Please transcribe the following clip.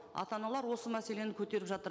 ата аналар осы мәселені көтеріп жатыр